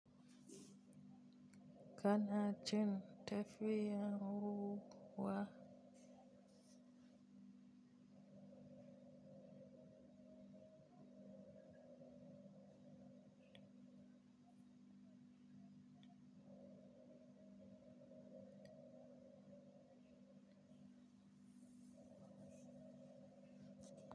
Kana jin tafiyan hu huwa?